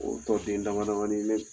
O tɔ den damadamani bɛ ye